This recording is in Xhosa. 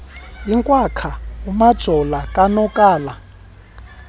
inkwakhwa umajola konakala